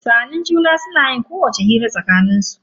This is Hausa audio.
Sa'annin juna suna yin kowacce irin hira a tsakanin su.